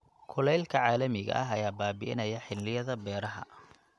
Kulaylka caalamiga ah ayaa baabi'inaya xilliyada beeraha.